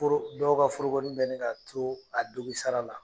Foro dɔw ka forokonin bɛ ɲini ka to a dongisara la.